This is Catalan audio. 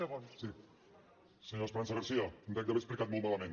senyora esperanza garcía em dec haver explicat molt malament